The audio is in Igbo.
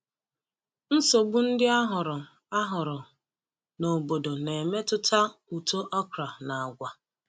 Nsogbu ndị a hụrụ a hụrụ n’obodo na-emetụta uto okra na agwa.